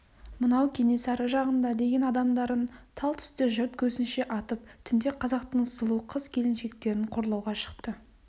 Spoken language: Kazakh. мынау кенесары жағында деген адамдарын тал түсте жұрт көзінше атып түнде қазақтың сұлу қыз-келіншектерін қорлауға шықты